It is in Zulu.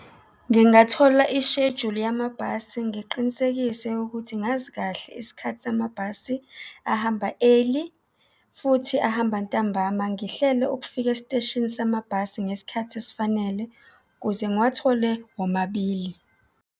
Ngingathola ishejuli yamabhasi, ngiqinisekise ukuthi ngazi kahle isikhathi samabhasi ahamba early futhi ahamba ntambama, ngihlele ukufika esiteshini samabhasi ngesikhathi esifanele ukuze ngiwathole womabili.